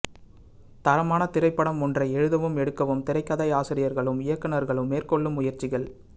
தரமான திரைப்படம் ஒன்றை எழுதவும் எடுக்கவும் திரைக்கதையாசிரியர்களும் இயக்குநர்களும் மேற்கொள்ளும் முயற்சிகள்